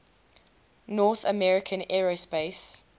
north american aerospace